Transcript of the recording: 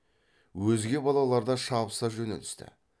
өзге балалар да шабыса жөнелісті